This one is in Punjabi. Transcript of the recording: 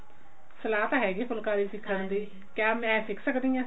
ਸਲਾਹ ਤਾਂ ਹੈਗੀ ਹੈ ਫੁਲਕਾਰੀ ਸਿੱਖਣ ਦੀ ਕਿਆ ਮੈਂ ਸਿੱਖ ਸਕਦੀ ਹਾਂ